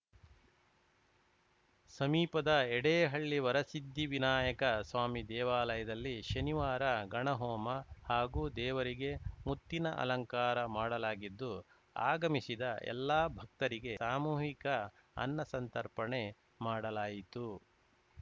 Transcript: ಸಮೀಪದ ಯಡೇಹಳ್ಳಿ ವರಸಿದ್ದಿ ವಿನಾಯಕ ಸ್ವಾಮಿ ದೇವಾಲಯದಲ್ಲಿ ಶನಿವಾರ ಗಣಹೋಮ ಹಾಗು ದೇವರಿಗೆ ಮುತ್ತಿನ ಅಲಂಕಾರ ಮಾಡಲಾಗಿದ್ದು ಆಗಮಿಸಿದ ಎಲ್ಲಾ ಭಕ್ತರಿಗೆ ಸಾಮೂಹಿಕ ಅನ್ನಸಂತರ್ಪಣೆ ಮಾಡಲಾಯಿತು